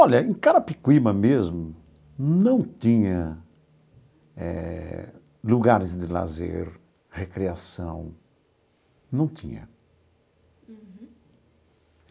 Olha, em Carapicuíba mesmo não tinha eh lugares de lazer, recreação, não tinha. Uhum.